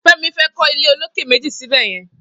Femi fè kọ ilé ólóké méji sibẹyẹ̀n